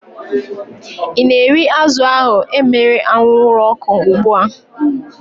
I na-eri azụ ahu emere anwụrụ ọkụ ugbua?